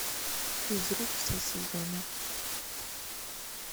физрук все сезоны